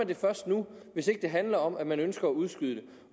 det først nu hvis ikke det handler om at man ønsker at udskyde